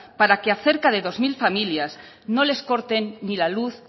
para que a cerca de dos mil familias no les corten ni la luz